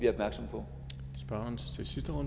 der